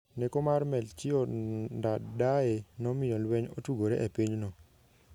Neko mar Melchior Ndadaye nomiyo lweny otugore e pinyno.